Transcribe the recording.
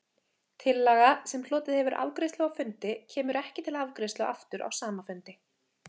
Tillaga, sem hlotið hefur afgreiðslu á fundi, kemur ekki til afgreiðslu aftur á sama fundi.